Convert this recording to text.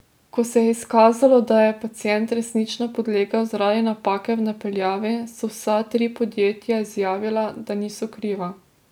Ko se je izkazalo, da je pacient resnično podlegel zaradi napake v napeljavi, so vsa tri podjetja izjavila, da niso kriva.